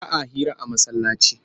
Ba a hira a masallaci